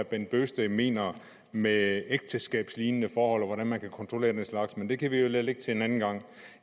bent bøgsted mener med ægteskabslignende forhold og hvordan man kan kontrollere den slags men det kan vi jo lade ligge til en anden gang